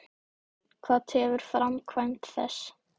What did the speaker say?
Hvað tefur framkvæmd þess?